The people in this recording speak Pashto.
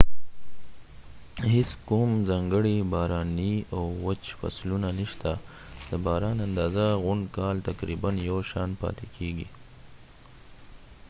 هیڅ کوم ځانګړی باراني او وچ فصلونه نشته د باران اندازه غونډ کال تقریباً یو شان پاتې کیږي